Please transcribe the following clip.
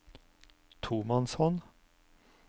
tomannshånd